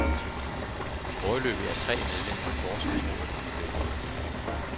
Foreløbig er tre medlemmer af forsvarsrådet blevet dømt.